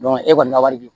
e kɔni ka wari di